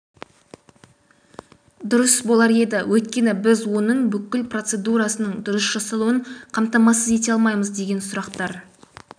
дұрыс болар еді өйткені біз оның бүкіл пороцедурасының дұрыс жасалуын қамтамасыз ете алмаймыз деген сұрақтар